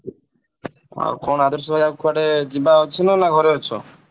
ଆଉ କଣ ଆଦର୍ଶ ଭାଇ ଆଉ କୁଆଡେ ଯିବା ଅଛି ନା ଘରେ ଅଛ?